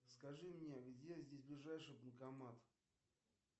скажи мне где здесь ближайший банкомат